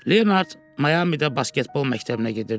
Leonard Mayamidə basketbol məktəbinə gedirdi.